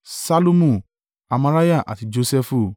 Ṣallumu, Amariah àti Josẹfu.